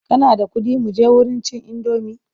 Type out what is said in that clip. Kana da kuɗi muje wurin cin indomi?